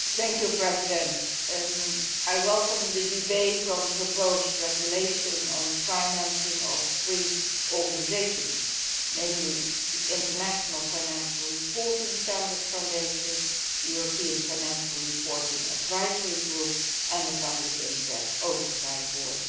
Mr President, I welcome the debate on the proposed regulation on the financing of three organisations, namely the International Financial Reporting Standards Foundation, the European Financial Reporting Advisory Group and the Public Interest Oversight Board.